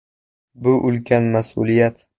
Bu ulkan mas’uliyat.